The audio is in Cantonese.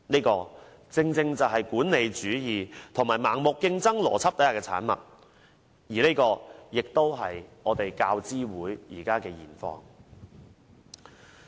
這正正是管理主義及盲目競爭邏輯之下的產物，這也是教資會的現況。